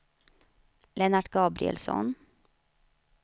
Lennart Gabrielsson